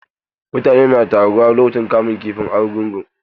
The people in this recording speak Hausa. Mutane na taruwa lokacin bikin kamun kifin argungu.